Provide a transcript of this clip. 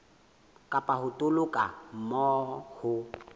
kapa ho toloka moo ho